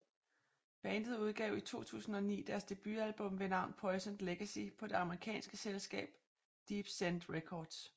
Bandet udgav i 2009 deres debutalbum ved navn Poisoned Legacy på det amerikanske selskab Deepsend Records